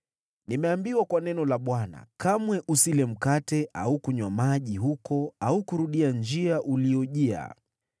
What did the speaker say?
Nimeambiwa kwa neno la Bwana : ‘Kamwe usile mkate au kunywa maji huko au kurudia njia uliyojia.’ ”